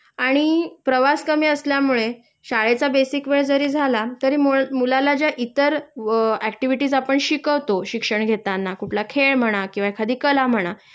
आणि प्रवास कमी असल्यामुळे शाळेचा बेसिक वेळ जरी झाला तरी मुलाला ज्या इतर अ व ऍक्टिव्हिटीझ आपण शिकवतो शिक्षण घेताना कुठला खेळ म्हणा किंवा एखादी कला म्हणा